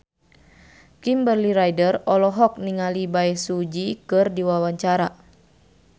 Kimberly Ryder olohok ningali Bae Su Ji keur diwawancara